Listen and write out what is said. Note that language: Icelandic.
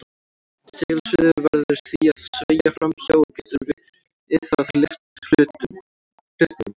Segulsviðið verður því að sveigja fram hjá og getur við það lyft hlutnum.